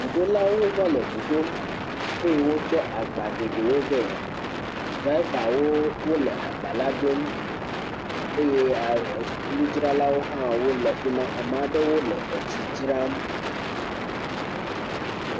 Ŋuɖolawo va le ŋu ɖom eye wotsɔ agba geɖewo vea. Dravawo wole agba la drom eye ŋudzralawo hã wole afi ma. Ame aɖewo le etsi dzram.